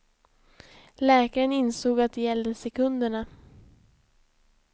Läkaren insåg att det gällde sekunderna.